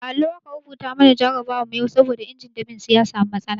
A allo aka rubuta mana jarabawa yau saboda injin dab'in su ya samu matsala.